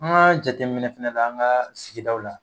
An ka jateminɛ fana la an ka sigidaw la